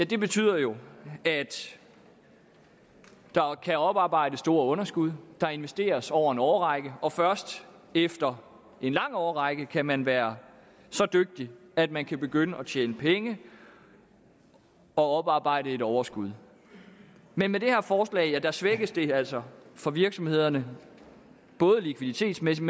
betyder jo at der kan oparbejdes store underskud der investeres over en årrække og først efter en lang årrække kan man være så dygtig at man kan begynde at tjene penge og oparbejde et overskud men med det her forslag svækkes det altså for virksomhederne både likviditetsmæssigt